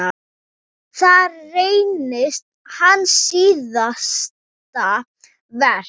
Það reynist hans síðasta verk.